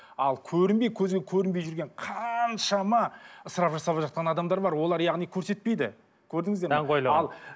ал көрінбей көзге көрінбей жүрген қаншама ысырап жасап жатқан адамдар бар олар яғни көрсетпейді көрдіңіздер ме даңғойлығын